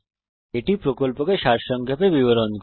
এটি প্রকল্পকে সংক্ষেপে বিবরণ করে